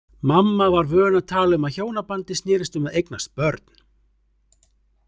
Mamma var vön að tala um að hjónabandið snerist um að eignast börn.